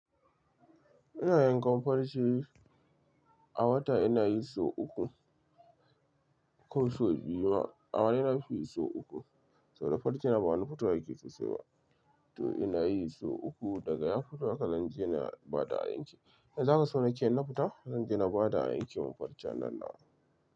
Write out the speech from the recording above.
Ina yankan farce a wata ina yi sau uku, ko sau biyu ma. A wani na fi yi sau uku. Saboda farcen ba wani fito yake sosai ba. To ina yi sau uku, daga ya fito haka zan je na ba da ayanke. Me zaka so nake na fita? Zan je na ba da ayanke ma farcen nan na.